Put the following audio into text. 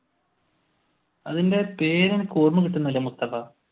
അതിന്റെ പേര് എനിക്ക് ഓർമകിട്ടുന്നില്ല മുസ്തഫ.